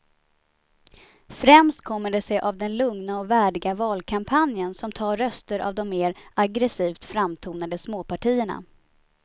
Främst kommer det sig av den lugna och värdiga valkampanjen som tar röster av de mer aggresivt framtonade småpartierna.